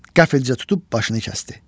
Qəfildə tutub başını kəsdi.